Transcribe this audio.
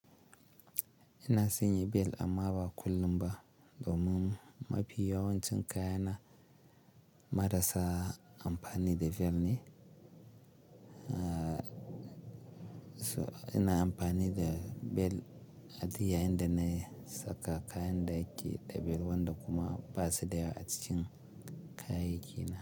Ina sanyi bel amma ba kullum ba domin mafi yawancin kaya na marasa amfani da bel ne. To ina amfani da bel aduk ya inda na saka kayan da ke da bel wanda kuma basu da yawa a ci kayaki na.